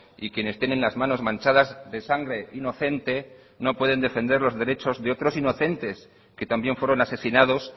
y quienes tienen las manos manchadas de sangre inocente no pueden defender los derechos de otros inocentes que también fueron asesinados